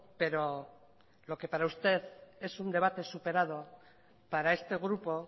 pero lo que para usted es un debate superado para este grupo